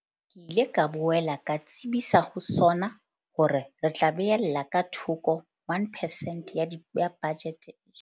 Ke ile ka boela ka tsebisa ho SoNA hore re tla beella ka thoko 1 percent ya bajete.